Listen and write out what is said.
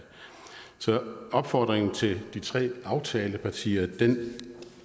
så opfordringen til de tre aftalepartier